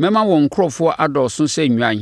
Mɛma wɔn nkurɔfoɔ adɔɔso sɛ nnwan,